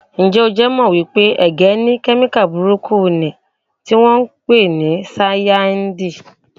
Ǹjẹ́ o jẹ́ mọ̀ wípé ẹ̀gẹ́ ní kemika burúkú niì tí wọn ń pè ní Sáyànáídì?